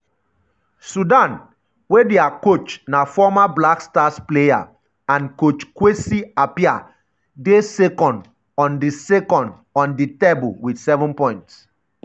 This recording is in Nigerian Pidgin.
sudan wey dia coach na former black stars player and coach kwesi appiah dey second on di second on di table wit 7 points.